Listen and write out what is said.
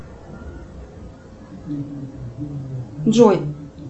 джой